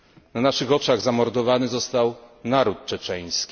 Na naszych oczach zamordowany został naród czeczeński.